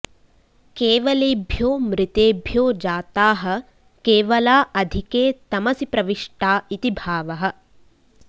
केवलेभ्यो मृतेभ्यो जाताः केवला अधिके तमसि प्रविष्टा इति भावः